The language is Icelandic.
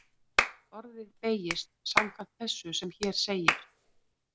Orðið beygist samkvæmt þessu sem hér segir: